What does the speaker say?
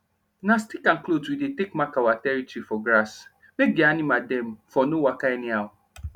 na stick and cloth we dey take mark our territory for grass make d animal dem for nor waka anyhow